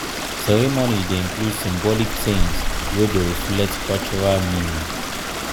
ceremony dey include symbolic things wey dey reflect cultural meaning.